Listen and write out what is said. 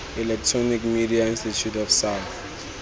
electronic media institute of south